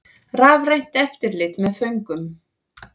Rafrænt eftirlit með föngum